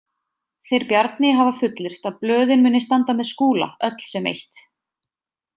Þeir Bjarni hafa fullyrt að blöðin muni standa með Skúla, öll sem eitt.